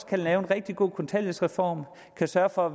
kan lave en rigtig god kontanthjælpsreform kan sørge for